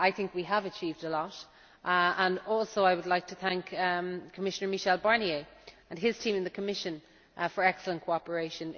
We have achieved a lot, and I would like to thank Commissioner Michel Barnier and his team in the Commission for excellent cooperation.